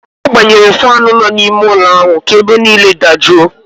Ọ gbanyere faanụ nọ n'ime ụlọ ahụ ka ebe niile dajụọ